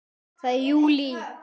Það er JÚLÍ!